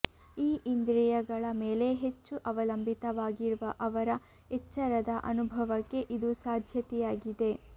ಈ ಇಂದ್ರಿಯಗಳ ಮೇಲೆ ಹೆಚ್ಚು ಅವಲಂಬಿತವಾಗಿರುವ ಅವರ ಎಚ್ಚರದ ಅನುಭವಕ್ಕೆ ಇದು ಸಾಧ್ಯತೆಯಾಗಿದೆ